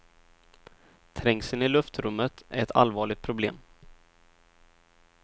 Trängseln i luftrummet är ett allvarligt problem.